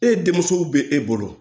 E denmuso bɛ e bolo